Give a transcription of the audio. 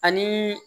Ani